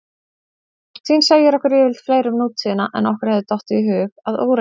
Fortíðin segir okkur yfirleitt fleira um nútíðina en okkur hefði dottið í hug að óreyndu.